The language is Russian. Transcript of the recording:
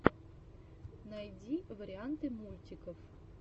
найди варианты мультиков